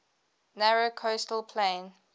narrow coastal plain